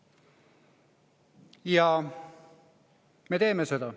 Ja me teeme seda.